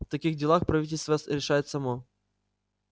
в таких делах правительство решает само